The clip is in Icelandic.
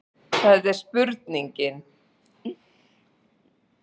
Það er spurningin.